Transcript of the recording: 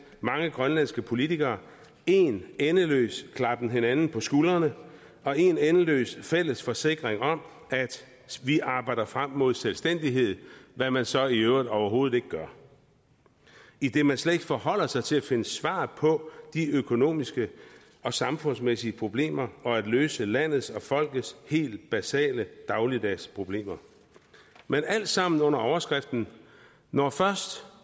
mange grønlandske politikere en endeløs klappen hinanden på skuldrene og en endeløs fælles forsikring om at vi arbejder frem mod selvstændighed hvad man så i øvrigt overhovedet ikke gør idet man slet ikke forholder sig til at finde svar på de økonomiske og samfundsmæssige problemer og til at løse landets og folkets helt basale dagligdags problemer men alt sammen under overskriften når først